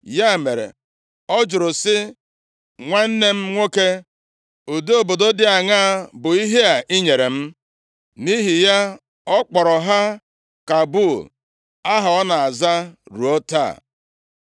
Ya mere, ọ jụrụ sị, “Nwanne m nwoke, ụdị obodo dị aṅaa bụ ihe a i nyere m?” Nʼihi ya, ọ kpọrọ ha Kabul, + 9:13 Ala na-adịghị ihe ọ dị mma iji ya mee. aha ọ na-aza ruo taa.